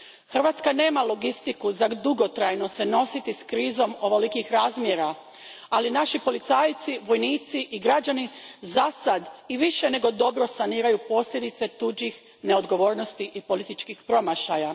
Hrvatska nema logistiku s pomoću koje bi se dugotrajno nosila s krizom ovolikih razmjera, ali naši policajci, vojnici i građani zasad i više nego dobro saniraju posljedice tuđih neodgovornosti i političkih promašaja.